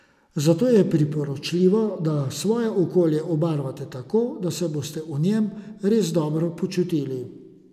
Zato je priporočljivo, da svoje okolje obarvate tako, da se boste v njem res dobro počutili.